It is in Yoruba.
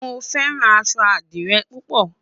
mo fẹràn aṣọ adire pupo